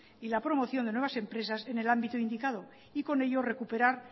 y la promoción de nuevas empresas en el ámbito indicado y con ello recuperar